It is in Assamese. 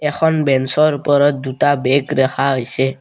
এখন বেঞ্চৰ ওপৰত দুটা বেগ ৰাখা হৈছে।